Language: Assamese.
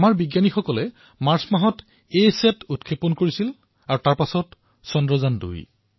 আমাৰ বৈজ্ঞানিকসকলে মাৰ্চ মাহত এছেট উৎক্ষেপন কৰিছিল আৰু তাৰপিছত চন্দ্ৰায়ন২